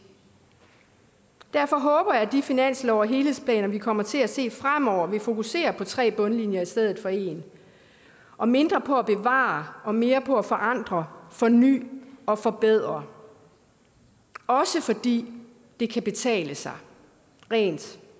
derfor håber jeg at de finanslove og helhedsplaner vi kommer til at se fremover vil fokusere på tre bundlinjer i stedet for en og mindre på at bevare og mere på at forandre forny og forbedre også fordi det kan betale sig rent